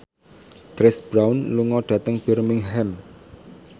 Chris Brown lunga dhateng Birmingham